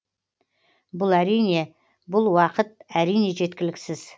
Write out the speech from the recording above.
бұл әрине бұл уақыт әрине жеткіліксіз